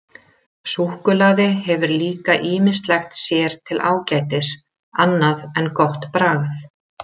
Súkkulaði hefur líka ýmislegt sér til ágætis annað en gott bragð.